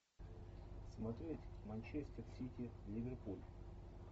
смотреть манчестер сити ливерпуль